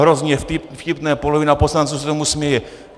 Hrozně vtipné, polovina poslanců se tomu směje.